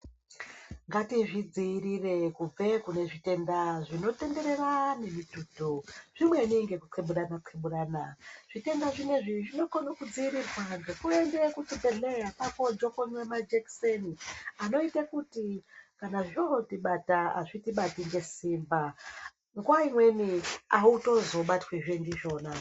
Ngatizvidzivirire kubve kune zvitenda zvinotenderera nemuthuntu zvimweni nekutheburana thebhurana zvitenda zvinezvi zvinokona kudziirirwa nekuenda kuzvibhehlera kwakunojokonwa majekiseni anoita kuti kana zvotibata hazviiti bati nesimba nguwa imweni amutozobatwi ndizvona.